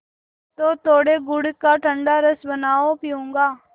तो थोड़े गुड़ का ठंडा रस बनाओ पीऊँगा